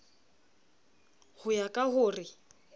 ho ya ka ho re